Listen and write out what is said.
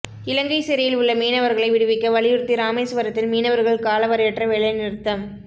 இலங்கை சிறையில் உள்ள மீனவர்களை விடுவிக்க வலியுறுத்தி ராமேசுவரத்தில் மீனவர்கள் காலவரையற்ற வேலைநிறுத்தம்